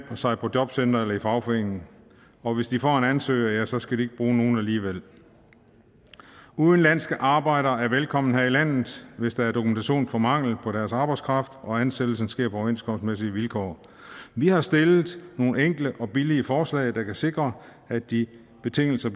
sig på jobcentret eller i fagforeningen og hvis de får en ansøger ja så skal de ikke bruge nogen alligevel udenlandske arbejdere er velkommen her i landet hvis der er dokumentation for mangel på deres arbejdskraft og ansættelsen sker på overenskomstmæssige vilkår vi har stillet nogle enkle og billige forslag der kan sikre at de betingelser